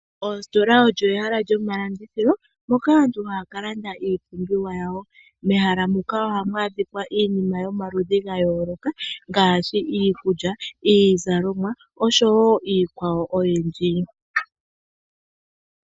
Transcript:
Oositola olyo ehala lyomalandithilo moka aantu haya kalanda iipumbiwa yawo. Mehala muka ohamu adhika iinima yomaludhi gayooloka ngaashi iikulya, iizalomwa osho wo iikwawo oyindji.